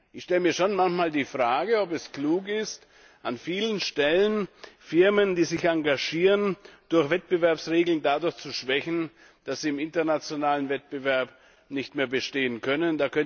Ich stelle mir schon manchmal die Frage, ob es klug ist, an vielen Stellen Firmen, die sich engagieren, durch Wettbewerbsregeln zu schwächen, so dass sie im internationalen Wettbewerb nicht mehr bestehen können.